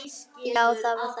Já, það var þannig.